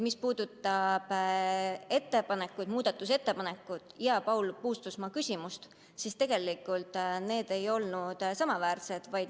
Mis puudutab muudatusettepanekut ja Paul Puustusmaa küsimust, siis tegelikult need ei olnud samaväärsed.